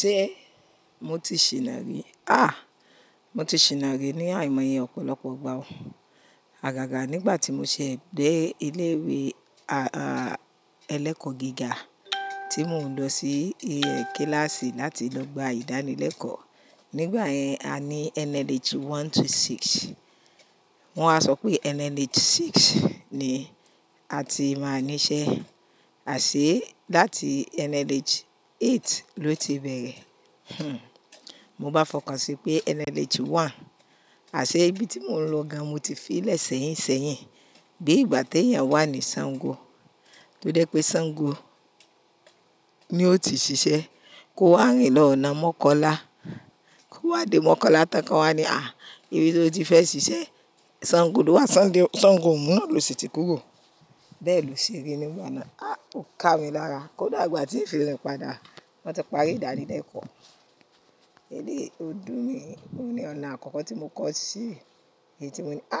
Ṣé mo ti ṣìná rí? À, mo ti ṣìná rí ní àìmọye ọ̀pọ̀lọpọ̀ igbà o. Àgàgà nígbà tí mo ṣe dẹ́ ilé ìwé a-a ẹlẹ́kọ̀ gíga tí mò ń lọ sí kíláàsì láti lọ gba ìdánilẹ́kọ̀ọ́. Nígbà yẹn a ní NLH one to six. Wọ́n a sọ pé NLH six ni a ti máa níṣẹ́. Àṣé láti NLH eight ló ti bẹ̀rẹ̀. Hmm. Mo bá fọkàn sí pé NLH one. Àṣé ibi tí mò ń lọ ga mo ti fi lẹ́ sẹ̀yín sẹ́yìn. Bí ìgbà tí èèyàn wà ní Sango, ló dé pé Sango ni ó ti ṣiṣẹ́. Kó wá rìn lọ ọ̀nà mọ́Kọ́lá. Kó wá dé mọ́Kọ́lá tán kan wá ní à, ìbí tí o ti fẹ́ ṣiṣẹ́. Sango ló wà, Sango ò mú ọ́ lọ sí ti kúrò. Bẹ́ẹ̀ ló ṣe rí nígbà náà. À, ó ká mi lára. Kódà ìgbà tí ń fi rin pada, wọ́n ti parí ìdánilẹ́kọ̀ọ́. Eléyìí ọdún mi, oni ọ̀nà àkọ́kọ́ tí mo kọ́ sí èyí tí mo ní à,